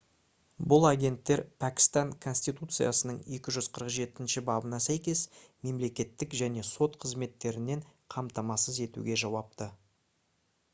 бұл агенттер пәкістан конституциясының 247-бабына сәйкес мемлекеттік және сот қызметтерін қамтамасыз етуге жауапты